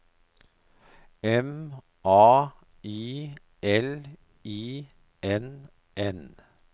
M A I L I N N